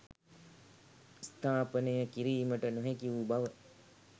ස්ථාපනය කිරීමට නොහැකිවූ බව